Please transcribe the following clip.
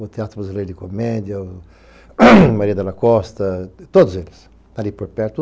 O Teatro Brasileiro de Comédia, Maria da Costa, todos eles, ali por perto.